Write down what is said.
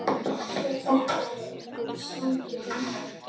Þetta eru einhverjir svangir munnar.